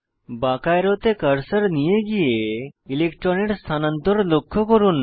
বাঁকা অ্যারোতে কার্সার নিয়ে গিয়ে ইলেক্ট্রনের স্থানান্তর লক্ষ্য করুন